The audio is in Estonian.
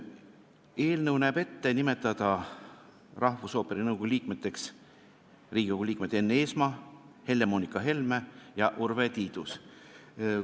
Eelnõu näeb ette nimetada rahvusooperi nõukogu liikmeteks Riigikogu liikmed Enn Eesmaa, Helle-Moonika Helme ja Urve Tiidus.